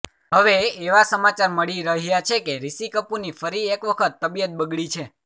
હવે એવા સમાચાર મળી રહ્યા છે કે રિશી કપૂરની ફરી એકવખત તબિયત બગડી છે